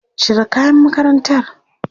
Cire kayan makarantar!